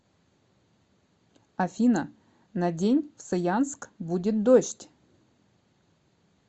афина на день в саянск будет дождь